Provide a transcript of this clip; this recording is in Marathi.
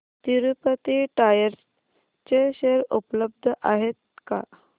तिरूपती टायर्स चे शेअर उपलब्ध आहेत का